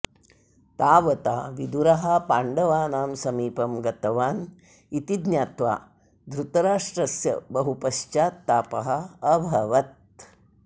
तावता विदुरः पाण्डवानां समीपं गतवान् इति ज्ञात्वा धृतराष्ट्रस्य बहुपश्चात्तापः अभवत्